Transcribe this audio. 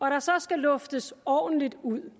der så skal luftes ordentligt ud